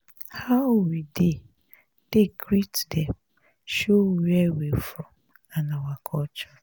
how we dey take greet dey show where we from and our culture.